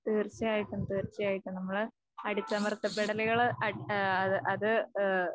തീർച്ചയായിട്ടും തീർച്ചയായിട്ടും നമ്മള് അടിച്ചമർത്തപ്പെടലുകള് ഏഹ് അത് ഏഹ്